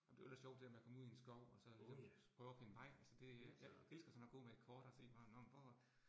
Ej men det var lidt sjovt det der med at komme ud i en skov, og så ligesom prøve at finde vej, altså det. Jeg elsker sådan at gå med et kort og se hvor nåh men hvor